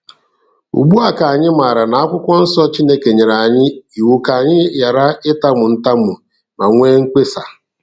Ugbu a ka anyị maara na n'Akwụkwọ Nsọ Chineke nyere anyị iwu ka anyị ghara ịtamu ntamu ma nwee mkpesa.